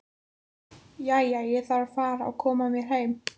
Jæja, ég þarf að fara að koma mér heim